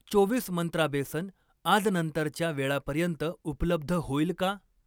चोवीस मंत्रा बेसन आज नंतरच्या वेळापर्यंत उपलब्ध होईल का?